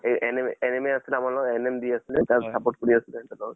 এ NM NM এ আছিল আমাৰ লগত । NM দি আছিলে, তাক support কৰি আছলো